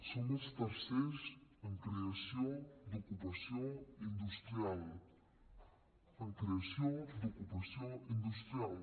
som els tercers en creació d’ocupació industrial en creació d’ocupació industrial